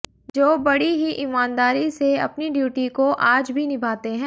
जो बड़ी ही ईमानदारी से अपनी ड्यूटी को आज भी निभाते है